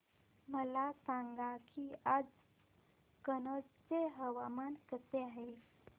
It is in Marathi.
मला सांगा की आज कनौज चे हवामान कसे आहे